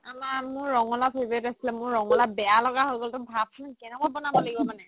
আমাৰ মোৰ ৰঙালাউ favorite আছিলে মোৰ ৰঙালাউ বেয়া লগা হয় গ'ল তই ভাবচোন কেনেকুৱা বনাব লাগিব মানে